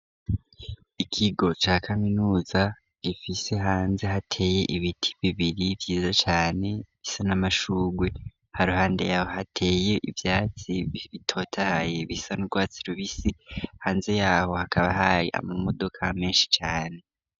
Ikigo ca kaminuza gifise hanze hateye ibiti bibiri vyiza cane bisa n'amashurwe haruhande yaho hateye ivyatsi bitotaye bisa nurwatsi rubisi hanze yaho hakaba haye ama modoka menshi cane.